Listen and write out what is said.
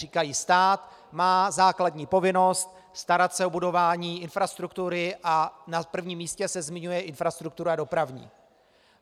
Říkají stát má základní povinnost starat se o budování infrastruktury a na prvním místě se zmiňuje infrastruktura dopravní.